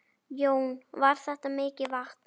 Jón: Var þetta mikið vatn?